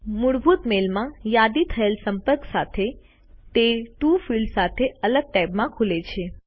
મૂળભૂત મેલમાં યાદી થયેલ સંપર્ક સાથે તે ટીઓ ફિલ્ડ સાથે અલગ ટૅબમાં ખુલે છે